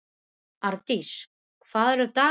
Árdís, hvað er í dagatalinu mínu í dag?